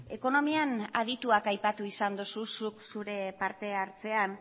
ekonomian adituak aipatu izan duzu zuk zure partehartzean